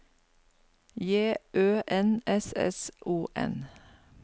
J Ø N S S O N